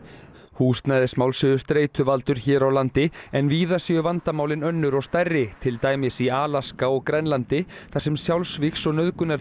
húsnæðismál séu streituvaldur hér á landi en víða séu vandamálin önnur og stærri til dæmis í Alaska og Grænlandi þar sem sjálfsvígs og